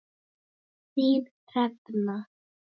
Þín, Hrefna.